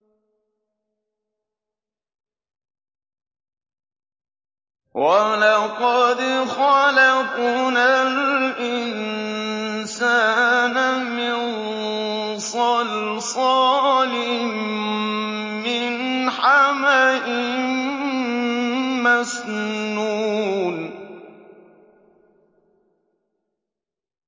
وَلَقَدْ خَلَقْنَا الْإِنسَانَ مِن صَلْصَالٍ مِّنْ حَمَإٍ مَّسْنُونٍ